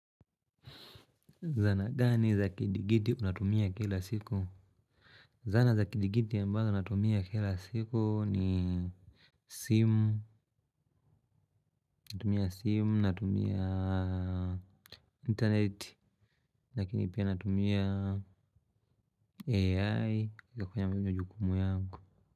Zana gani za kidigiti unatumia kila siku? Zana za kidigiti ambazo unatumia kila siku ni simu, natumia simu natumia internet, lakini pia natumia AI kwenye mwenye jukumu yangu.